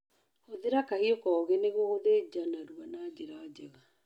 Hũthĩra kahiũ koge nĩguo gũthĩnja narua na njĩra njega